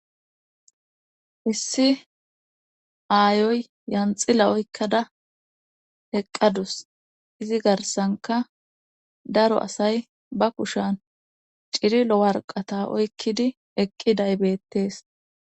issi aayoy yanxila oykkada eqqadus izi garsanka daro asay ba kushan cirilo warqata oykkidi eqqi daybettees